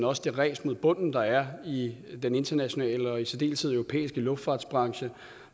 også det ræs mod bunden der er i den internationale og i særdeleshed den europæiske luftfartsbranche